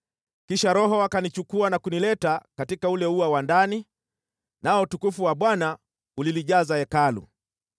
Kisha Roho akanichukua na kunileta katika ule ua wa ndani, nao utukufu wa Bwana ulilijaza Hekalu.